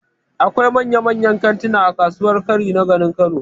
Akwai manyan-manyan kantina a kasuwar Kwari na garin Kano